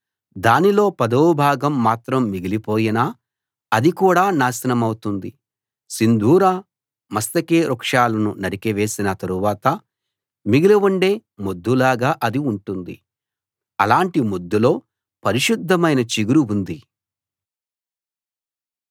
దానిలో పదవ భాగం మాత్రం మిగిలిపోయినా అది కూడా నాశనమౌతుంది సింధూర మస్తకి వృక్షాలను నరికి వేసినా తరువాత మిగిలి ఉండే మొద్దులాగా అది ఉంటుంది అలాటి మొద్దులో పరిశుద్ధమైన చిగురు ఉంది